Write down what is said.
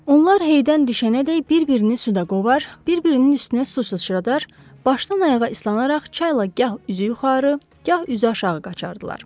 Onlar heydən düşənədək bir-birini suda qovar, bir-birinin üstünə su sıçradar, başdan-ayağa islanaraq çayla gah üzü yuxarı, gah üzü aşağı qaçardılar.